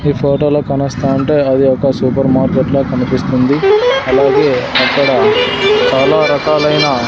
ఈ ఫోటోలో కనుస్తంటే అది ఒక సూపర్ మార్కెట్ లాగా కనిపిస్తుంది అలాగే అక్కడ చాలా రకాలైన.